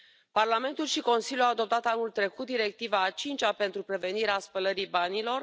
Parlamentul și Consiliul au adoptat anul trecut Directiva a cincea pentru prevenirea spălării banilor.